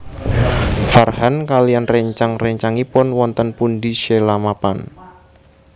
Farhan kaliyan réncang réncangipun wonten pundi Sheila mapan